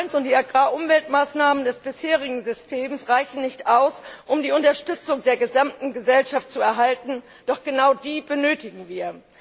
und die Agrarumweltmaßnahmen des bisherigen Systems reichen nicht aus, um die Unterstützung der gesamten Gesellschaft zu erhalten, doch genau die benötigen wir.